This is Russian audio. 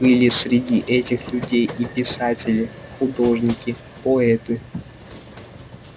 были среди этих людей и писатели художники поэты